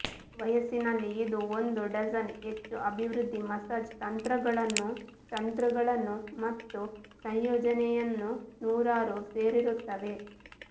ಈ ವಯಸ್ಸಿನಲ್ಲಿ ಇದು ಒಂದು ಡಜನ್ ಹೆಚ್ಚು ಅಭಿವೃದ್ಧಿ ಮಸಾಜ್ ತಂತ್ರಗಳನ್ನು ತಂತ್ರಗಳನ್ನು ಮತ್ತು ಸಂಯೋಜನೆಯನ್ನು ನೂರಾರು ಸೇರಿರುತ್ತವೆ